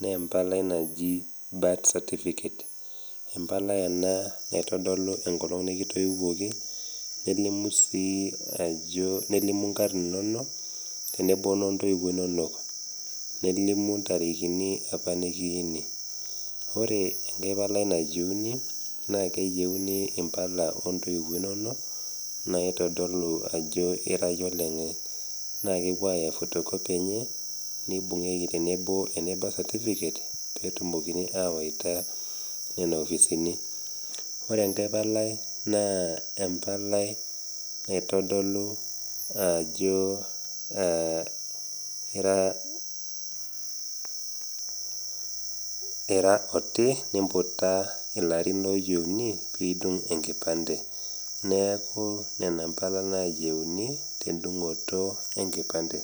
naa empalai naji birth certificate, empalai ena naitodolu enkolong' nekitoiwuoki, nelimu sii ajo nelimu inkarn inono, tenebo o noontoiwo inono, nelimu intarikini opa nekiyuuni. Ore enkai palai neyiunii naa keyieuniimpaka oo intoiwuo inono, naitodolu ajo ira iye olenye, naa kepuoi aaya photocopy enye neibung'ieki tenebo ene birth certificate, pee etumokini awaita nena kopisini. Ore enkai palai naa empalai naitadolu ajo aa oti niimputa ilarin ooyieuni pee idung' enkipande. Neaku nena impala nayieuni tendung'oto enkipande.